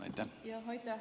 Aitäh!